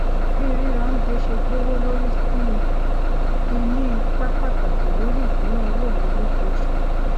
bí ríra óunjẹ ṣe gbówó lórí sí i ti ní ipá pàtàkì lòri ìsúnáowó mi lóṣooṣù